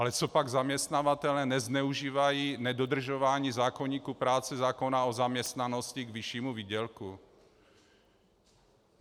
Ale copak zaměstnavatelé nezneužívají nedodržování zákoníku práce, zákona o zaměstnanosti k vyššímu výdělku?